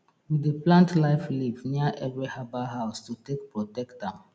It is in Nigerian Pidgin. we dey plant life leaf near every herbal house to take protect am